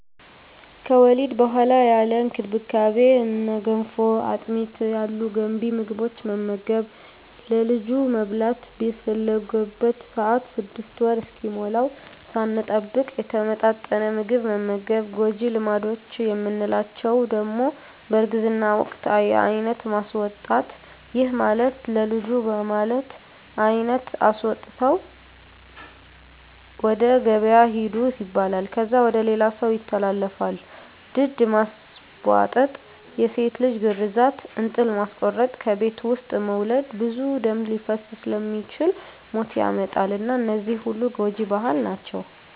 ከወሊድ በኋላ ያለ እንክብካቤ እነ ገንፎ፣ አጥሚት ያሉ ገንቢ ምግቦትን መመገብ፣ ለልጁ መብላት በፈለገበት ሰአት 6 ወር እስኪሞላዉ ሳንጠብቅ የተመጣጠነ ምግብ መመገብ። ጎጂ ልማዶች የምንላቸዉ ደሞ በእርግዝና ወቅት የአይነት ማስወጣት ይህም ማለት ለልጁ በማለት አይነት አስወጥተዉ ወደ ገበያ ሂዱ ይባላል። ከዛ ወደ ሌላ ሰዉ ይተላለፋል፣ ድድ ማስቧጠጥ፣ የሴት ልጅ ግርዛት፣ እንጥል ማስቆረጥ፣ ከቤት ዉስጥ መዉለድ ብዙ ደም ሊፈስ ስለሚችል ሞት ያመጣል እና እነዚህ ሁሉ ጎጂ ባህል ናቸዉ።